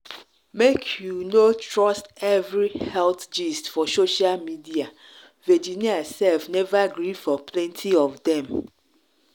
make you make you no trust every health gist for social media virginia sef never gree for plenty of dem.